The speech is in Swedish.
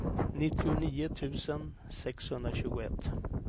nittionio tusen sexhundratjugoett